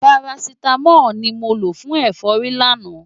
Parasítámọ̀ ni mo lò fún ẹ̀fọ́rí lánàá.